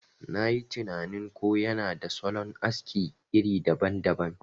Nayi tinanin ko yana da salon aski iri daban daban.